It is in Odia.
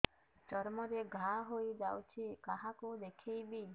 ଚର୍ମ ରେ ଘା ହୋଇଯାଇଛି କାହାକୁ ଦେଖେଇବି